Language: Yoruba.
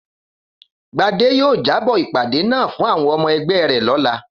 Gbadé yóò jábó̩ ìpàdé náà fún àwo̩n o̩mo̩ e̩gbé̩ rè̩ ló̩la